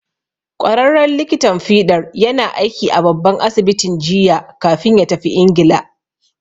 Ƙwararren likitan fiɗar yana aiki a babban asibitin jiya kafin ya tafi Ingila.